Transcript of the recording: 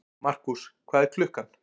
Markús, hvað er klukkan?